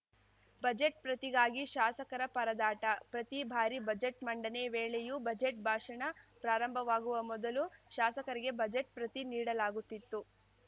budget ಪ್ರತಿಗಾಗಿ ಶಾಸಕರ ಪರದಾಟ ಪ್ರತಿ ಬಾರಿ ಬಜೆಟ್‌ ಮಂಡನೆ ವೇಳೆಯೂ ಬಜೆಟ್‌ ಭಾಷಣ ಪ್ರಾರಂಭವಾಗುವ ಮೊದಲು ಶಾಸಕರಿಗೆ ಬಜೆಟ್‌ ಪ್ರತಿ ನೀಡಲಾಗುತ್ತಿತ್ತು